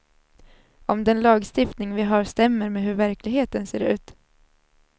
Om den lagstiftning vi har stämmer med hur verkligheten ser ut.